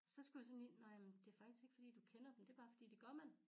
Så skulle jeg sådan lige nå jaman det jo faktisk ikke fordi du kender dem det bare fordi det gør man